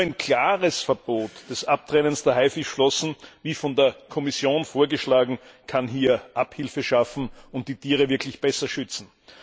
Nur ein klares Verbot des Abtrennens der Haifischflossen wie von der Kommission vorgeschlagen kann hier Abhilfe schaffen und die Tiere wirklich besser schützen.